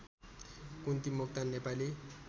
Kunti Moktan Nepali